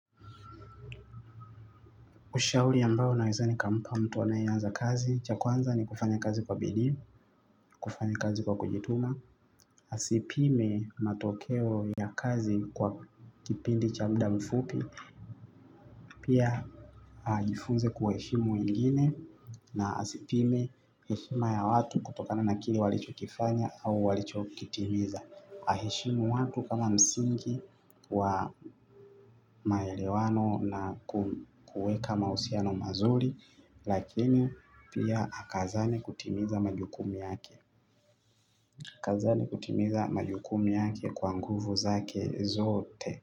Ushauri ambayo naeza nikampa mtu anayeianza kazi, cha kwanza ni kufanya kazi kwa bidii, kufanya kazi kwa kujituma, asipime matokeo ya kazi kwa kipindi cha muda mfupi, pia jifunze kuwa heshimu wengine na asipime heshima ya watu kutokana na kile walichokifanya au walichokitimiza. Aheshimu watu ama msingi wa maelewano na kuweka mahusiano mazuri. Lakini pia akazane kutimiza majukumu yake. Akazane kutimiza majukumu yake kwa nguvu zake zote.